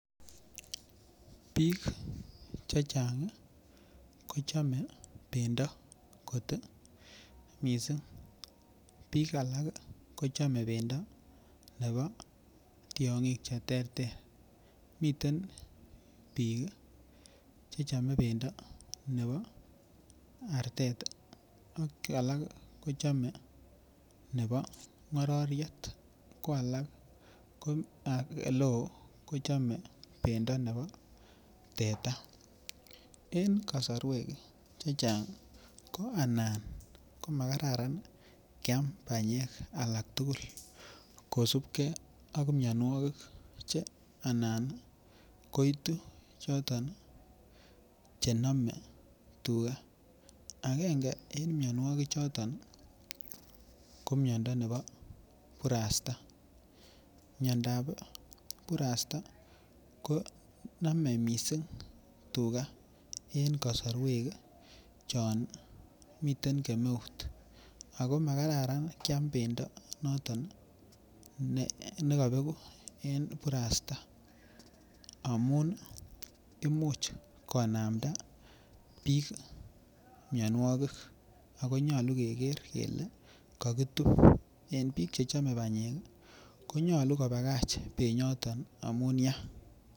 Biik che chang kochome pendo kot mising biik alak kochome pendo nebo tiong'ik che ter ter miten biik chechomei bendo nebo arter ak alak kochomei ak alak kochome nebo ngororiet ko alak oleo kochome pendo nebo teta eng kosorwek che chang ana komakararan keam panyek alak tukul kosupkei ak mionwokik anan koitu choton che nome tuga akenge eng mionwokik choton Ko miondo nebo kurasta miondap kurasta konomei mising tuka eng kosorwek chon miten kemeut ako makararan kiam pendo noton nekapeku en kurasta amun imuch konamda biik mionwokik akonyolu keker kele kakitup en biik chechomei panyek konyolu kopakach penyoton amun ya.